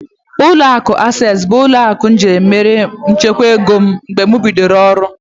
Ụlọakụ Asesi bụ ụlọaku izizi ji mère nchekwa ego m mgbe m bidoro ọrụ